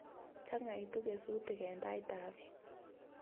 Changaitu kesutik eng' ndaet ab peek